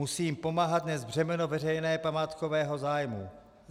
Musí jim pomáhat nést břemeno veřejného památkového zájmu.